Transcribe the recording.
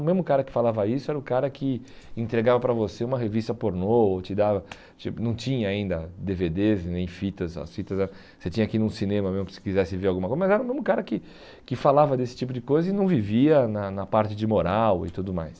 O mesmo cara que falava isso era o cara que entregava para você uma revista pornô ou te dava, tin não tinha ainda dê vê dês e nem fitas, as fitas era você tinha que ir num cinema mesmo para se quisesse ver alguma coisa, mas era o mesmo cara que que falava desse tipo de coisa e não vivia na na parte de moral e tudo mais.